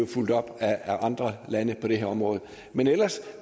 fulgt op af andre lande på det her område men ellers